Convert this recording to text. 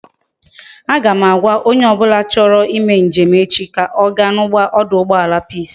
A ga m agwa onye obula na acho ime njem ka oga na oduugbala peace